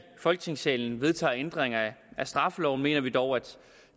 folketingssalen vedtager ændringer af straffeloven mener vi dog at